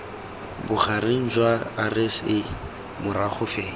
bogareng jwa rsa morago fela